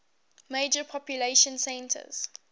major population centers